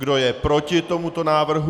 Kdo je proti tomuto návrhu?